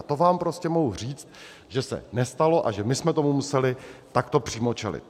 A to vám prostě mohu říct, že se nestalo a že my jsme tomu museli takto přímo čelit.